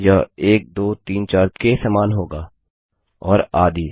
यह 1 2 3 4 के समान होगा और आदि